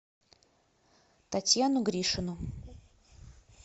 татьяну гришину